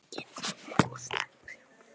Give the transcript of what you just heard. Hvernig er búið að vera?